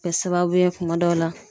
Kɛ sababu ye kuma dɔw la